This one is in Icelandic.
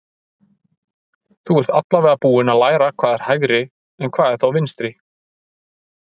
Þú ert allavega búinn að læra hvað er hægri en hvað er þá vinstri?